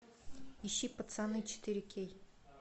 ищи пацаны четыре кей